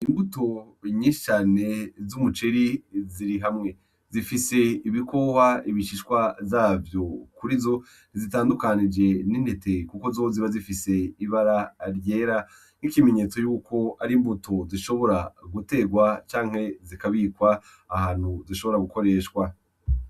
Imbuto nyicane z'umuceri ziri hamwe zifise ibikohwa ibishishwa zavyo kuri zo tizitandukanije n'intete, kuko zoziba zifise ibara ryera nk'ikimenyetso yuko ari imbuto zishobora guterwa canke zikabikwa ahantu zishobora gukoreshwa.